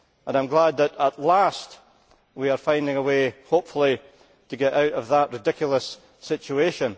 I am glad that at last we are finding a way, hopefully, to get out of that ridiculous situation.